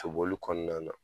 Soboli kɔnɔna na